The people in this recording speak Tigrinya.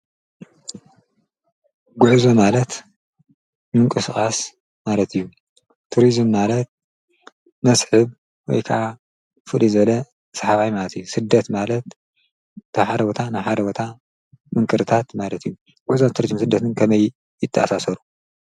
ጐዕዞ ማለት ምንቂስቓስ ማለት እዩ ቱርዝም ማለት መስሕብ ወይከዓ ፍል ዘለ ሰሓባይ ማትእዩ ሥደት ማለት ተሓረወታ ንሓረወታ ምንክርታት ማለት እዩ ጐዛ ዝተርጅም ስደትን ከመይ ይትሣሰሩ፡፡